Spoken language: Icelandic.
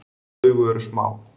Augu eru smá.